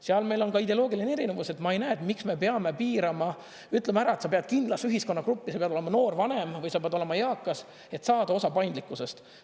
Seal meil on ka ideoloogiline erinevus, et ma ei näe, et miks me peame piirama, ütlema ära, et sa pead kindlas ühiskonnagruppi, sa pead olema noor vanem või sa pead olema eakas, et saada osa paindlikkusest.